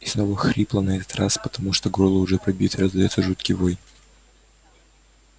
и снова хрипло на этот раз потому что горло уже пробито раздаётся жуткий вой